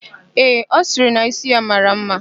Ee, ọ sịrị na ísí ya mara ḿmá.